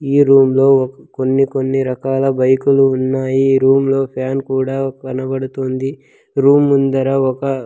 ఈ రూమ్ లో కొన్ని కొన్ని రకాల బైకులు ఉన్నాయి రూమ్ లో ఫ్యాన్ కూడా కనబడుతుంది రూమ్ ముందర ఒక.